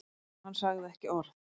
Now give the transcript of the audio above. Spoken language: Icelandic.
Hann sagði ekki orð.